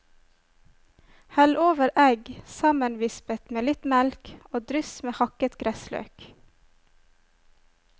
Hell over egg sammenvispet med litt melk, og dryss med hakket gressløk.